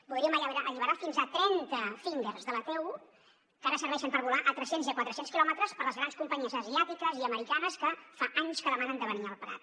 podríem alliberar fins a trenta fingers de la t1 que ara serveixen per volar a tres cents i a quatre cents quilòmetres per les grans companyies asiàtiques i americanes que fa anys que demanen de venir al prat